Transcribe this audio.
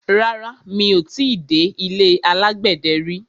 Rárá, mi ò ti dé ilé alágbẹ̀dẹ rí.